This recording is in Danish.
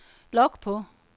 log på